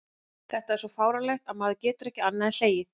Þetta er svo fáránlegt að maður getur ekki annað en hlegið.